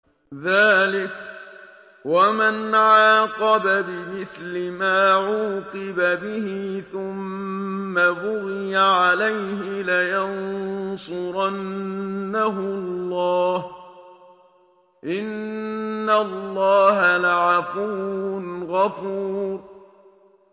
۞ ذَٰلِكَ وَمَنْ عَاقَبَ بِمِثْلِ مَا عُوقِبَ بِهِ ثُمَّ بُغِيَ عَلَيْهِ لَيَنصُرَنَّهُ اللَّهُ ۗ إِنَّ اللَّهَ لَعَفُوٌّ غَفُورٌ